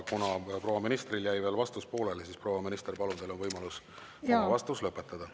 Kuna proua ministril jäi veel vastus pooleli, siis proua minister, palun, teil on võimalus oma vastus lõpetada.